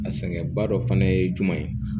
A sɛgɛnba dɔ fana ye jumɛn ye